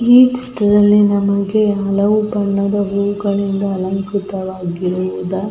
ಈ ಚಿತ್ರದಲ್ಲಿ ನಮಗೆ ಹಲವು ಬಣ್ಣದ ಹೂಗಳಿಂದ ಅಲಂಕ್ರುತ ವಾಗಿ ಇರುವ --